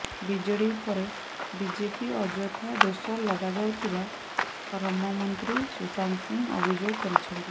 BJD ଉପରେ BJP ଅଯଥା ଦୋଷ ଲଦାଯାଉଥିବା ଶ୍ରମମନ୍ତ୍ରୀ ସୁଶାନ୍ତ ସିଂ ଅଭିଯୋଗ କରିଛନ୍ତି